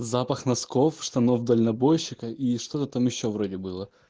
запах носков штанов дальнобойщика и что-то там ещё вроде было